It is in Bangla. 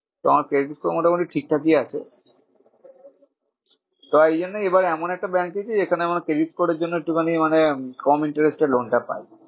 তো আমার credit তো মোটামুটি ঠিকঠাকই আছে। তাই জন্যই আবার এমন একটা এখানে আমার credit করার জন্য একটু খানি মানে কম interest এ loan টা পাই।